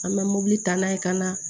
An bɛ mobili ta n'a ye ka na